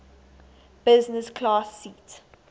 business class seat